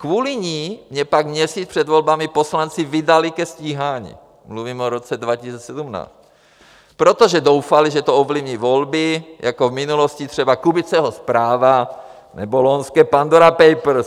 Kvůli ní mě pak měsíc před volbami poslanci vydali ke stíhání, mluvím o roce 2017, protože doufali, že to ovlivní volby, jako v minulosti třeba Kubiceho zpráva nebo loňské Pandora Papers.